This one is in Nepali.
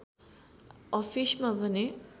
अफिसमा भने